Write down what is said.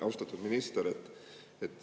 Austatud minister!